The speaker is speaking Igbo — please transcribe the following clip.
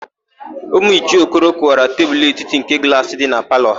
Ụmụ Ichie Okoro kụwara tebulu etiti nke glaasị dị na palọ ha.